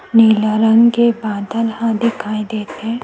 नीला रंग के बादल ह दिखाई देते हे।